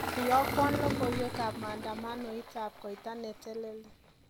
Iyokwo logoiwekab maandamanoitab koita niteleli